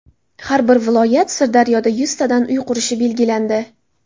Har bir viloyat Sirdaryoda yuztadan uy qurishi belgilandi .